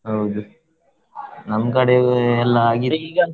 ಹೌದು ನಮ್ ಕಡೆಯೆಲ್ಲಾ ಆಗಿತ್ತು.